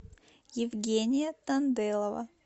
евгения танделова